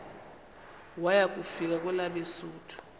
waya kufika kwelabesuthu